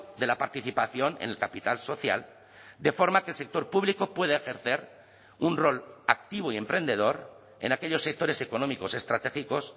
de la participación en el capital social de forma que el sector público puede ejercer un rol activo y emprendedor en aquellos sectores económicos estratégicos